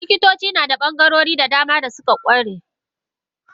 Likitoci nada bangarori da dama da suka kware.